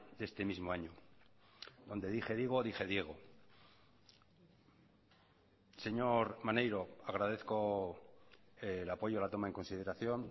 de este mismo año donde dije digo dije diego señor maneiro agradezco el apoyo a la toma en consideración